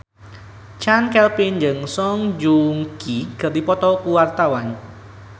Chand Kelvin jeung Song Joong Ki keur dipoto ku wartawan